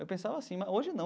Eu pensava assim, mas hoje não.